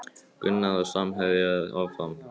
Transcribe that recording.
Gunnar og samherjar áfram